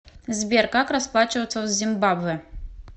сбер как расплачиваться в зимбабве